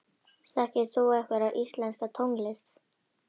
Þekkir þú einhverja íslenska tónlist?